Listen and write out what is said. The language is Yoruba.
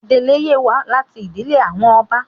Adeleye wa lati idile awọn ọba